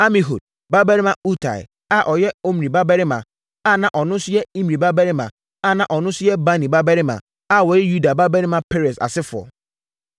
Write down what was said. Amihud babarima Utai a ɔyɛ Omri babarima na ɔno nso yɛ Imri babarima na ɔno nso yɛ Bani babarima a wɔyɛ Yuda babarima Peres asefoɔ.